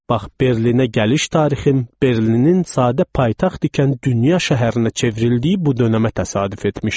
Bax Berlinə gəliş tarixim Berlinin sadə paytaxt ikən dünya şəhərinə çevrildiyi bu dönəmə təsadüf etmişdi.